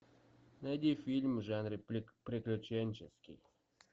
найди фильм в жанре приключенческий